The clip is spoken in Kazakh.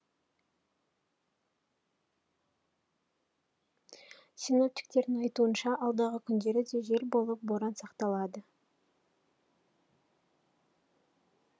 синоптиктердің айтуынша алдағы күндері де жел болып боран сақталады